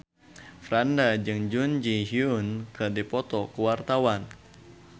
Franda jeung Jun Ji Hyun keur dipoto ku wartawan